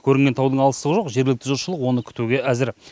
көрінген таудың алыстығы жоқ жергілікті жұртшылық оны күтуге әзір